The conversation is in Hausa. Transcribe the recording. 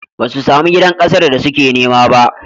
Ba su sami gidan ƙasar da suke nema ba.